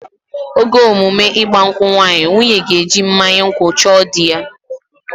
Oge emume ịgba nkwụ nwaanyị, nwunye ga-eji mmanya nkwụ chọọ dị ya